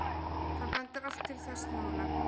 Það bendir allt til þess núna.